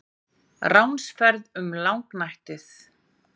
RÁNSFERÐ UM LÁGNÆTTIÐ